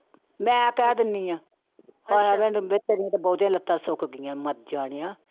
ਮੈਂ ਕਹਿ ਦਿੰਦੀ ਹਾਂ ਤੇਰੀਆਂ ਤਾਂ ਬਹੁਤੀਆਂ ਲੱਤਾਂ ਸੁੱਕ ਗਈਆਂ ਮਰ ਜਾਣਿਆ।